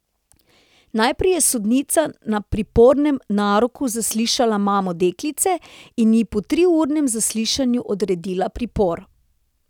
Najprej je sodnica na pripornem naroku zaslišala mamo deklice in ji po triurnem zaslišanju odredila pripor.